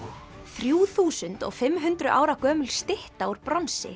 þrjú þúsund og fimm hundruð ára gömul stytta úr bronsi